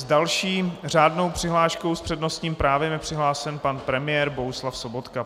S další řádnou přihláškou s přednostním právem je přihlášen pan premiér Bohuslav Sobotka.